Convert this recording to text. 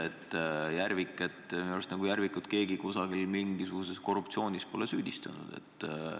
Minu arust minister Järvikut keegi mingisuguses korruptsioonis pole süüdistanud.